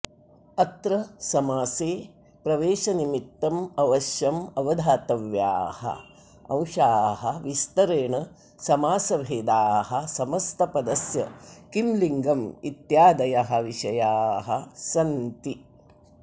अत्र समासे प्रवेशनिमित्तम् अवश्यम् अवधातव्याः अंशाः विस्तरेण समासभेदाः समस्तपदस्य किं लिङ्गम् इत्यादयः विषयाः सन्ति